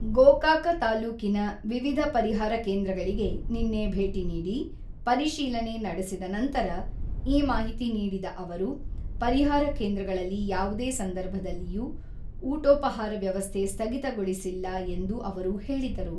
ಗೋಕಾಕ ತಾಲ್ಲೂಕಿನ ವಿವಿಧ ಪರಿಹಾರ ಕೇಂದ್ರಗಳಿಗೆ ನಿನ್ನೆ ಭೇಟಿ ನೀಡಿ, ಪರಿಶೀಲನೆ ನಡೆಸಿದ ನಂತರ ಈ ಮಾಹಿತಿ ನೀಡಿದ ಅವರು, ಪರಿಹಾರ ಕೇಂದ್ರಗಳಲ್ಲಿ ಯಾವುದೇ ಸಂದರ್ಭದಲ್ಲಿಯೂ ಊಟೋಪಹಾರ ವ್ಯವಸ್ಥೆ ಸ್ಥಗಿತಗೊಳಿಸಿಲ್ಲ ಎಂದು ಅವರು ಹೇಳಿದರು.